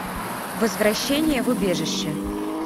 возвращение в убежище